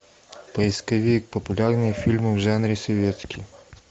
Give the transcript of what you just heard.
поисковик популярные фильмы в жанре советский